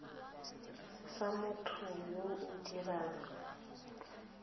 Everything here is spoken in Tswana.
sa motho yo o dirang